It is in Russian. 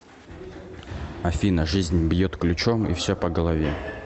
афина жизнь бьет ключом и все по голове